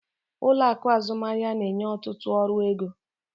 Ụlọ akụ azụmaahịa na-enye ọtụtụ ọrụ ego.